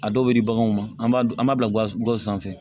A dɔw bɛ di baganw ma an b'a dun an b'a bila gawo sanfɛ